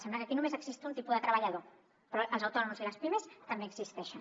sembla que aquí només existeixi un tipus de treballador però els autònoms i les pimes també existeixen